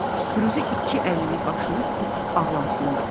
Firuzə iki əlli başını tutub ağlamısındı.